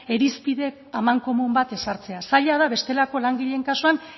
irizpide amankomun bat ezartzea zaila da bestelako langileen kasuan